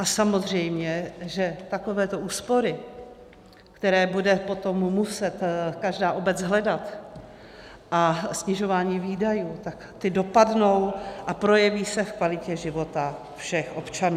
A samozřejmě, že takovéto úspory, které bude potom muset každá obec hledat, a snižování výdajů, tak ty dopadnou a projeví se v kvalitě života všech občanů.